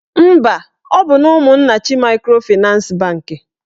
Mba, ọ bụ Ụmụnnachi maịkrofịnans bankị